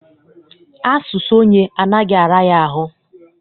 Asụsụ onye anaghị ara ya ahụ